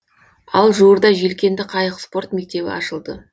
ал жуырда желкенді қайық спорт мектебі ашылды